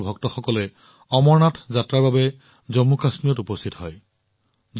সমগ্ৰ দেশৰ ভক্তসকলে অমৰনাথ যাত্ৰাৰ বাবে জম্মু আৰু কাশ্মীৰত উপস্থিত হয়